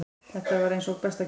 Þetta var eins og besta gjöf.